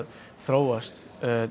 þróast